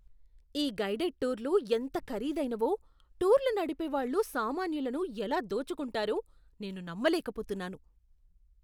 ఈ గైడెడ్ టూర్లు ఎంత ఖరీదైనవో, టూర్లు నడిపేవాళ్ళు సామాన్యులను ఎలా దోచుకుంటారో నేను నమ్మలేకపోతున్నాను.